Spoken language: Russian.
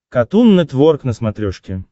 катун нетворк на смотрешке